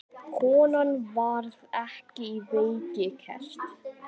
Konan varð ekki á vegi gesta.